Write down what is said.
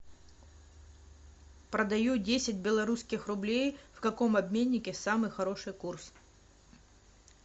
продаю десять белорусских рублей в каком обменнике самый хороший курс